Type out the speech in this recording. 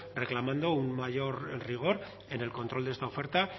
reclamando un mayor rigor en el control de esta oferta